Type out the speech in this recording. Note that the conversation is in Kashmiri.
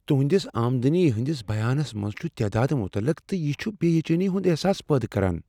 تہنٛدِس آمدنی ہندس بیانس منٛز چھ تعداد متعلقہٕ، تہٕ یہ چھ بےچینی ہنٛد احساس پٲدٕ کران۔